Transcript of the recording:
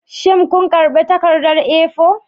Shin kun karba takardar A4?